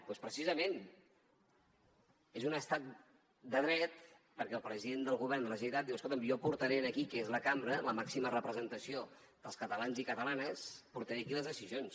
doncs precisament és un estat de dret perquè el president del govern de la generalitat diu escolta’m jo portaré aquí que és la cambra la màxima representació dels catalans i catalanes les decisions